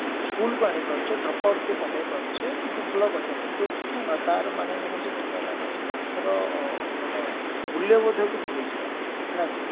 schoolକୁ ଆଣିପାରୁଛେ dropoutକୁ କମେଇ ପରୁଛେ ଭଲ କଥା କିନ୍ତୁ ତାର ମାନେ ନୁହଁ ଯେ ବର୍ତ୍ତମାନ ଆମେ ସେ ପାଠର ମାନେ ମୂଲ୍ୟବୋଧକୁ ଭୁଲିଯିବା ନା କଣ